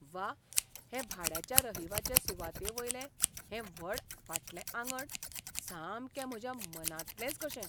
व्वा, हे भाड्याच्या रहिवाचे सुवातेवयलें हें व्हड फाटलें आंगण सामकें म्हज्या मनांतलेंच कशें!